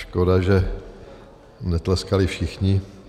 Škoda, že netleskali všichni.